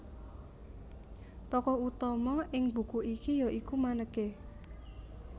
Tokoh utama ing buku iki ya iku Maneke